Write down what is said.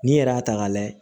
N'i yɛrɛ y'a ta k'a layɛ